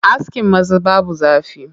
Askin maza babu zafi.